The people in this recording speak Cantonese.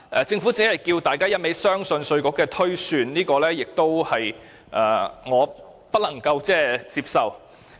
政府只是不斷要求大家相信稅務局的推算，這是我不能接受的。